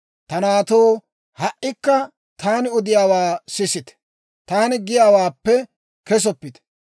Ta naatoo, ha"ikka taani odiyaawaa sisite; taani giyaawaappe kesoppite.